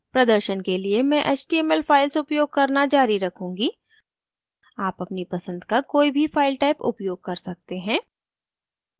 प्रदर्शन के लिए मैं html files उपयोग करना जारी रखूंगी आप अपनी पसंद का कोई भी फाइल type उपयोग कर सकते हैं